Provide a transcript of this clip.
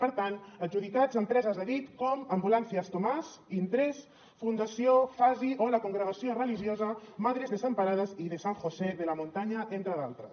per tant adjudicats a empreses a dit com ambulancias tomás intress fundació fasi o la congregació religiosa madres desamparadas y de san josé de la montaña entre d’altres